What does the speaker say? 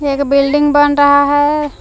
एक बिल्डिंग बन रहा है।